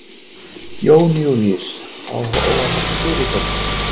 Jón Júlíus: Á að fara að spila í kvöld?